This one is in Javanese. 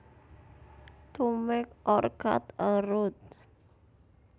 To make or cut a route